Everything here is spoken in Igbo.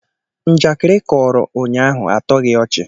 Njakịrị ị kọọrọ ụnyaahụ atọghị ọchị